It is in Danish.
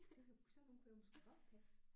Det kunne sådan nogle kunne jeg måske godt passe